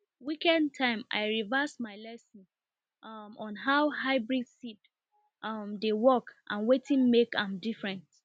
weekend time i revise my lesson um on how hybrid seed um dey work and wetin make am different